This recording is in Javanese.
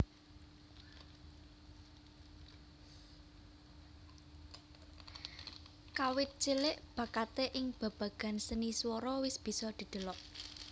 Kawit cilik bakaté ing babagan seni swara wis bisa didelok